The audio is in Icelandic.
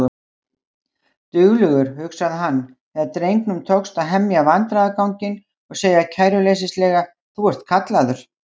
Duglegur, hugsaði hann þegar drengnum tókst að hemja vandræðaganginn og segja kæruleysislega: Þú ert kallaður